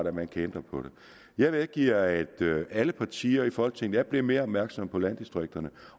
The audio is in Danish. at man kan ændre på det jeg medgiver at alle partier i folketinget er blevet mere opmærksomme på landdistrikterne